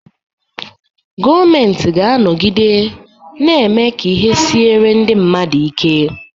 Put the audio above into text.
Gọọmenti ga-anọgide na-eme ka ihe siere ndị mmadụ ike.